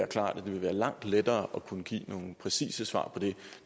klart at det vil være langt lettere at kunne give nogle præcise svar på det